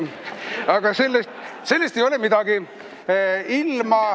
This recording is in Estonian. Aga sellest ei ole midagi.